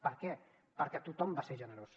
per què perquè tothom va ser generós